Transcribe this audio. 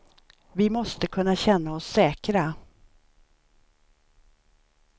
Vi måste kunna känna oss säkra.